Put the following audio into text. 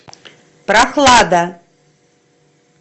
прохлада